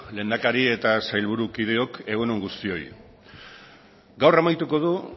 lehendakari eta sailburukideok egun on guztioi gaur amaituko du